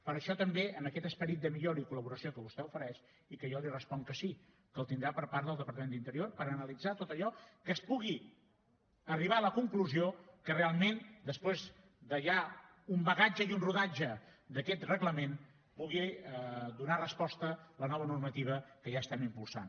per això també en aquest esperit de millora i col·laboració que vostè ofereix i que jo li responc que sí que el tindrà per part del departament d’interior per analitzar tot allò que es pugui arribar a la conclusió que realment després de ja un bagatge i un rodatge d’aquest reglament pugui donar resposta la nova normativa que ja estem impulsant